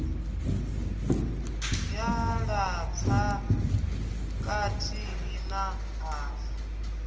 ya lapfa kathihi na hafu